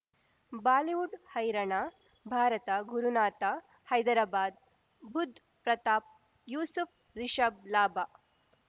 Bollywood ಹೈರಣ ಭಾರತ ಗುರುನಾಥ ಹೈದರಾಬಾದ್ ಬುಧ್ ಪ್ರತಾಪ್ ಯೂಸುಫ್ ರಿಷಬ್ ಲಾಭ